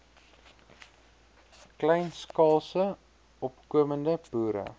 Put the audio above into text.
kleinskaalse opkomende boere